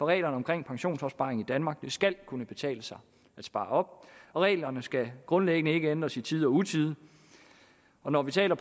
reglerne om pensionsopsparing i danmark det skal kan kunne betale sig at spare op og reglerne skal grundlæggende ikke ændres i tide og utide og når vi taler